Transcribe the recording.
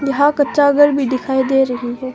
हां कच्चा घर भी दिखाई दे रही है।